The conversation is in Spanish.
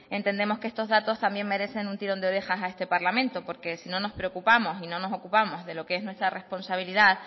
entendemos que estos datos merecen un tirón de orejas a este parlamento porque si no nos preocupamos y no nos ocupamos de lo que es nuestra responsabilidad